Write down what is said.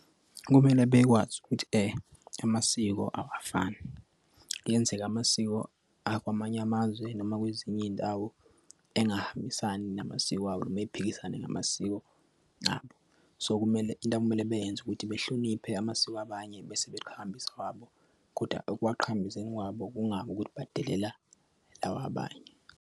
Kumele bekwazi ukuthi amasiko awafani. Kuyenzeka amasiko akwamanye amazwe noma kwezinye iy'ndawo engahambisani namasiko abo, noma ephikisane namasiko abo. So kumele into okumele bayenze ukuthi behloniphe amasiko abanye bese beqhakambisa wabo. Koda ukuwaqhakambisa kwabo kungabi ukuthi badelele lawa abanye.